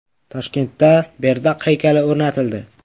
Toshkentda Berdaq haykali o‘rnatildi.